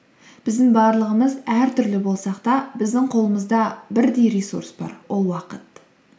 біздің барлығымыз әртүрлі болсақ та біздің қолымызда бірдей ресурс бар ол уақыт